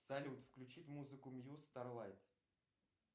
салют включить музыку мьюз старлайт